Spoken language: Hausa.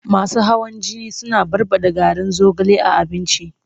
Masu hawan jini suna barɓaɗa garin zogale a abinci.